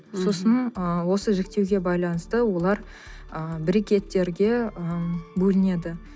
сосын ы осы жіктеуге байланысты олар ы брекеттерге ы бөлінеді